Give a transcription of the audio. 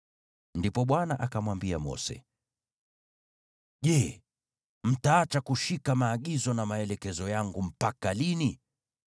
Ndipo Bwana akamwambia Mose, “Je, mtaacha kushika maagizo na maelekezo yangu mpaka lini?